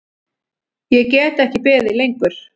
Ég get ekki beðið lengur.